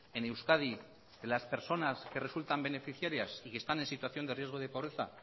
en euskadi de las personas que resultan beneficiarias y que están en situación de riesgo de pobreza